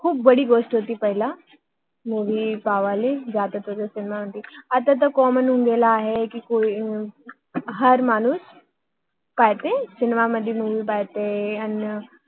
खूप मोठी गोष्ट होती पहिले मुवि बघायला जाणे आता तर कॉमन common होऊन गेले आहे कि हार माणूस अर आता सिनेमा मध्ये मुवि बघायला जातो